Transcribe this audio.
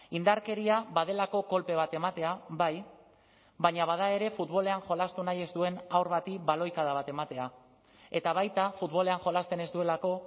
indarkeria badelako kolpe bat ematea bai baina bada ere futbolean jolastu nahi ez duen haur bati baloikada bat ematea eta baita futbolean jolasten ez duelako